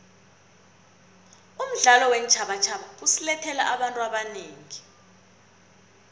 umdlalo weentjhabatjhaba usilethele abantu abanengi